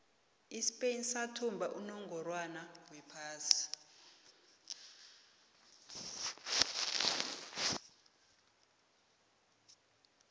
ispain sathumba unongorwond wephasi